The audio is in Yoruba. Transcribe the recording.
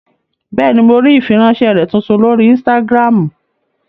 Bẹ́ẹ̀ni, mo rí ìfiránsẹ́ rẹ tuntun lórí ínstágíráàmù